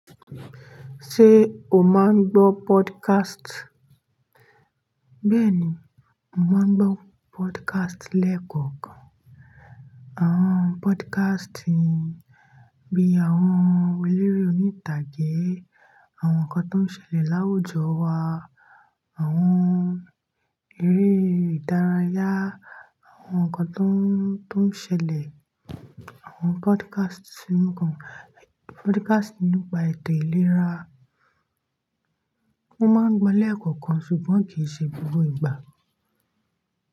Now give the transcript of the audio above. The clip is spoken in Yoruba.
Ṣé o máa ń gbọ́ podcast? Bẹ́ẹ̀ni, mo máa ń gbọ́ podcast lẹ́ẹ̀kọ̀kan. Àwọn podcast bí i àwọn eléré orí ìtàgé, àwọn nǹkan tó ń ṣẹlẹ̀ láwùjọ wa, àwọn eré ìdárayá, àwọn nǹkan tó ń, tó ń ṣẹlẹ̀, àwọn podcast nípakan, podcast nípa èdè ìlera. Mo máa ń gbọ́ lẹ́ẹ̀kọ̀kan ṣùgbọ́n kì í ṣe gbogbo ìgbà.